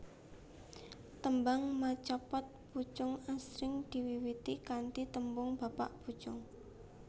Tembang macapat pocung asring diwiwiti kanthi tembung bapak pucung